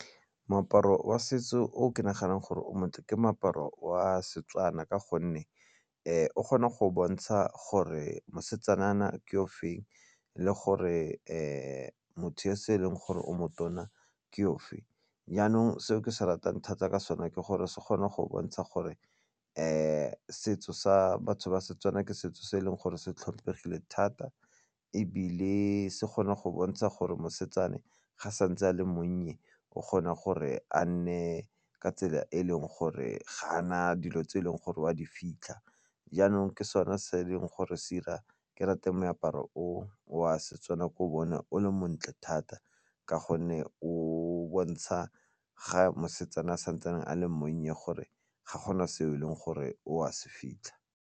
Moaparo wa setso o ke naganang gore o montle ke moaparo wa seTswana ka gonne o kgona go bontsha gore mosetsanyana ke o feng le gore motho e se e leng gore o motona ke ofe. Jaanong seo ke se ratang thata ka sone ke gore se kgone go bontsha gore setso sa seTswana ke setso se e leng gore se tlhomphegile thata ebile se kgone go bontsha gore mosetsana ga a santse a le monnye o kgona gore a nne ka tsela e e leng gore ga a na dilo tse e leng gore o a di fitlha jaanong ke sone se e leng gore se 'ira ke rate moaparo o a seTswana ke o bone o le montle thata ka gonne o bontsha ga mosetsana a santsane a le monnye gore ga gona se e leng gore o a se fitlha.